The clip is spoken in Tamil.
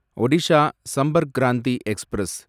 ஒடிஷா சம்பர்க் கிராந்தி எக்ஸ்பிரஸ்